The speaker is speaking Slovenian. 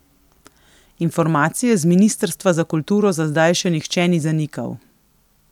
Informacije z ministrstva za kulturo za zdaj še nihče ni zanikal.